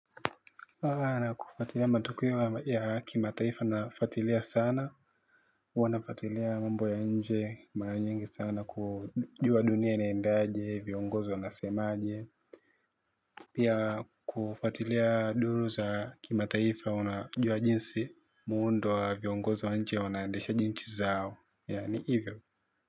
Na kufatilia matokeo ya kimataifa nafuatilia sana, huwa nafuatilia mambo ya nje, mara nyingi sana, kujua dunia inaendaje, viongozi wanasemaje, pia kufuatilia duru za kimataifa, unajua jinsi, muundo wa viongozi wa nje, wanaendeshaje nchi zao, yaani hivyo.